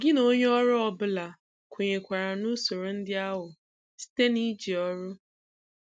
Gị na onye ọrụ ọ bụla kwenyekwara na Usoro ndị ahụ site na iji Ọrụ.